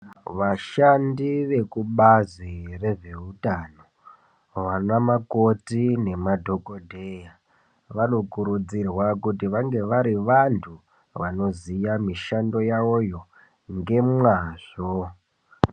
Vashandi vekubazi rezveutano, vana makoti nemadhokodheya, vanokurudzirwa kuti vange vari vanthu, vanoziya mishando yawoyo ngemwazvo.